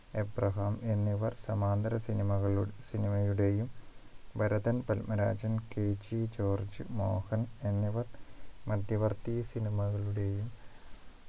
Abraham എന്നിവർ സമാന്തര cinema കളു cinema യുടെയും ഭരതൻ പത്മരാജൻ KG ജോർജ് മോഹൻ എന്നിവർ മധ്യവർത്തി cinema കളുടെയും